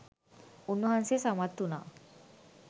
උන්වහන්සේ සමත් වුණා.